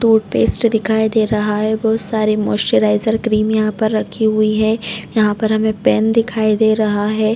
Toothpaste दिखाई दे रहा है बहुत सारे मॉइस्चरीज़र क्रीम यहाँ पर रखी हुई है यहाँ पर हमे पेन दिखाई दे रहा है।